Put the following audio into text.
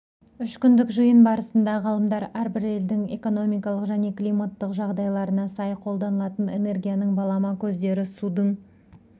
үшкүндік жиын барысында ғалымдар әрбір елдің экономикалық және климаттық жағдайларына сай қолданылатын энергияның балама көздері судың